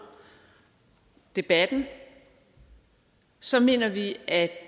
debatten så mener vi at